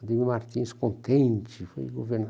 O Demir Martins contente, foi